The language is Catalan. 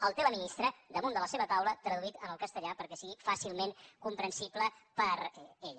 el té la ministra damunt de la seva taula traduït al castellà perquè sigui fàcilment comprensible per a ella